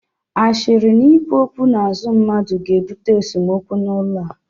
Ashịrị na ikwu okwu n'azụ mmadụ ga-ebute esemokwu n'ezinaụlọ a